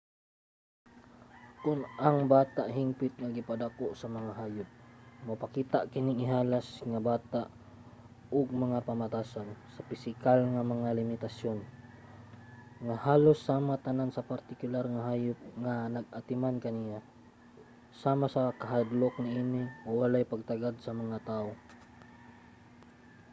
kon ang bata hingpit nga gipadako sa mga hayop mopakita kining ihalas nga bata og mga pamatasan sa pisikal nga mga limitasyon nga halos sama tanan sa partikular nga hayop nga nag-atiman kaniya sama sa kahadlok niini o walay pagtagad sa mga tawo